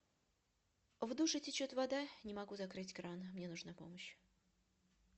в душе течет вода не могу закрыть кран мне нужна помощь